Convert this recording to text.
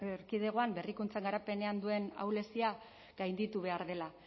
erkidegoan berrikuntzan garapenean duen ahulezia gainditu behar dela